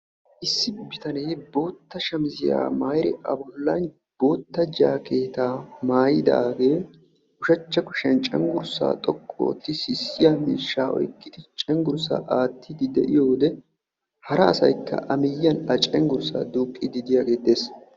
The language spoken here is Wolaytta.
issi bitanee bootta shamissiya maayidi a bolan bootta jaakeetaa mayidaagee ushachcha kushiyan cengursaa xoqqu ootti sissiya miishaa oyqidi cengursaa aatiidi de'iyio wode hara asay qassi a cengursaa duuqiidi diyagee dees.